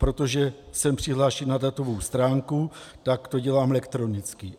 Protože jsem přihlášen na datovou stránku, tak to dělám elektronicky.